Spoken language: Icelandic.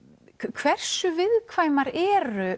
hversu viðkvæmar eru